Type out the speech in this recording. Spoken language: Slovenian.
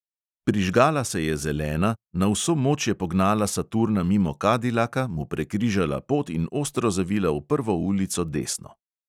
Prižgala se je zelena, na vso moč je pognala saturna mimo kadilaka, mu prekrižala pot in ostro zavila v prvo ulico desno.